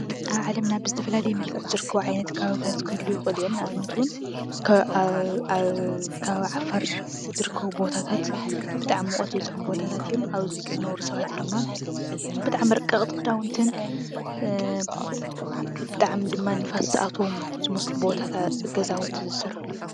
ኣብ ዓለምና ብዝተፈላለየ መልክዕ ዝርከቡ ዓይነት ከባቢታት ክህልዉ ይኽእሉ እዮም፡፡ ንኣብነት እውን ኣብ ከባቢ ዓፋር ዝርከቡ ቦታታት ብጣዕሚ ሙቐት ዝበዝሖም ቦታታት እዮም፡፡ ኣብዚ ዝነብሩ ሰባት ድማ ብጣዕሚ ረቀቕቲ ክዳውንትን ብጣዕሚ ድማ ንፋስ ዝኣትዎም ዝመስሉ ገዛውቲ ዝሰርሕሉ እዮም፡፡